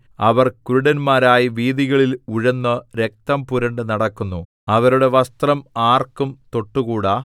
അവർ കുരുടന്മാരായി വീഥികളിൽ ഉഴന്ന് രക്തം പുരണ്ട് നടക്കുന്നു അവരുടെ വസ്ത്രം ആർക്കും തൊട്ടുകൂടാ